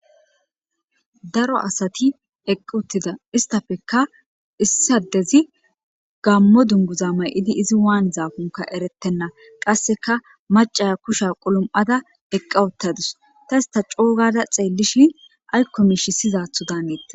Daro asati eqi uttides uttida istappeka issi adezi gamo dunguza mayidi izi wanizankonka eretena qaseka macaya kusha kulumada eqa uttadus ta ista co'u gada xeelishin ayko mishshii siyizatho danetes